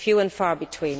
Few and far between.